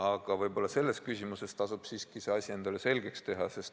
Aga võib-olla selles küsimuses tasub asi siiski endale selgeks teha.